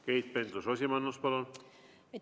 Keit Pentus-Rosimannus, palun!